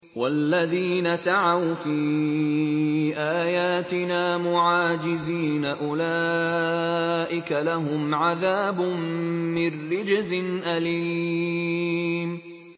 وَالَّذِينَ سَعَوْا فِي آيَاتِنَا مُعَاجِزِينَ أُولَٰئِكَ لَهُمْ عَذَابٌ مِّن رِّجْزٍ أَلِيمٌ